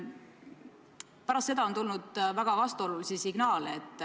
Pärast seda on tulnud väga vastuolulisi signaale.